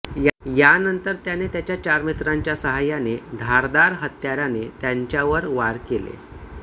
यानंतर त्याने त्याच्या चार मित्रांच्या साहाय्याने धारदार हत्याराने त्यांच्यावर वार केले